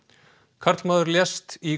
karlmaður lést í